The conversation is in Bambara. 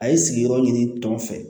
A ye sigiyɔrɔ ɲini tɔn fɛ